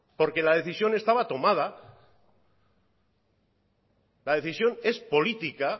porque la decisión estaba tomada la decisión es política